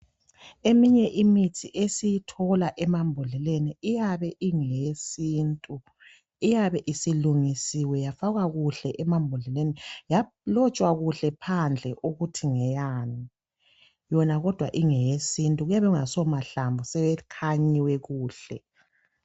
Eminye esiyithola emambodleleni iyabe ingeyesintu, iyabe isilungisiwe yafakwakuhle emambodleleni yalotshwa kuhle phandle ukuthi ngeyani, yona kodwa ingeyesintu kuyabe kungaso mahlamvu, sekhanyiwe kuhle.